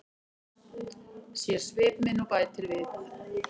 Sér svip minn og bætir við.